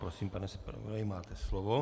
Prosím, pane zpravodaji, máte slovo.